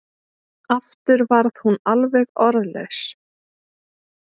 Aftur varð hún alveg orðlaus.